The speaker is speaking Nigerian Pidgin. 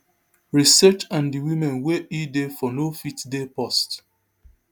research and di women wey e dey for no fit dey paused